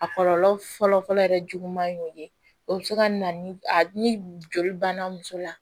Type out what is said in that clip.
A kɔlɔlɔ fɔlɔfɔlɔ yɛrɛ juguman ye o ye o bɛ se ka na ni a ni joli banna muso la